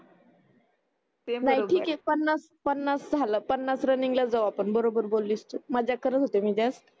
नाही ठीक आहे पन्नास झाल पन्नास रनिंगला जाऊ आपन बरोबर बोलीस तू मजाक करत होती मी जस्ट